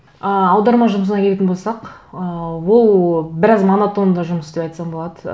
ы аударма жұмысына келетін болсақ ы ол біраз монотонды жұмыс деп айтсам болады